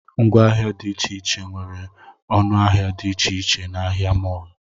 Ngwa ahịa dị iche iche nwere ọnụ ahịa dị iche iche na ahịa mọọlụ